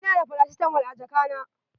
Ina da faracitamol a jaka na.